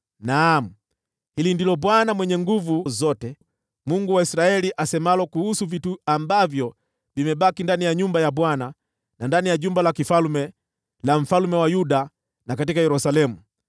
Naam, hili ndilo Bwana Mwenye Nguvu Zote, Mungu wa Israeli, asemalo kuhusu vitu ambavyo vimebaki ndani ya nyumba ya Bwana , na ndani ya jumba la kifalme la mfalme wa Yuda, na katika Yerusalemu: